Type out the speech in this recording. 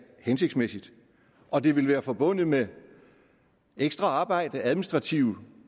hensigtsmæssigt og det ville være forbundet med ekstra arbejde administrative